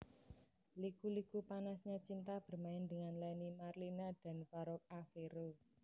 Liku Liku Panasnya Cinta bermain dengan Lenny Marlina dan Farouk Affero